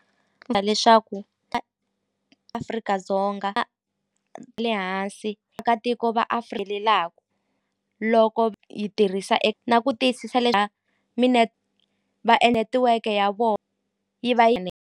leswaku Afrika-Dzonga le hansi va loko yi tirhisa na ku tiyisisa va e netiweke ya vo yi va yi .